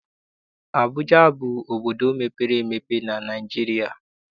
Abụja bụ obodo mepere emepe na Naịjirịa.